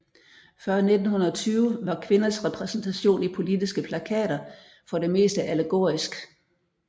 Før 1920 var kvinders repræsentation i politiske plakater for det meste allegorisk